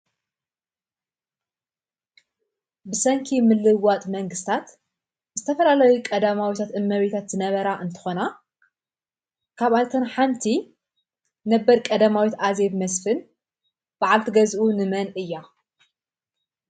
ብሰንኪ ምልውዋጥ መንግስትታት ዝተፈላለዩ ቀዳማዊታት እመቤታት ዝነበራ እንትኮና ካብኣተን ሓንቲ ነበር ቀዳማዊት ኣዜብ መስፍን በዓልቲ ገዝኡ ንመን እያ ?